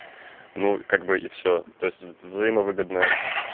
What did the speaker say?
ну как бы и всё то есть взаимовыгодное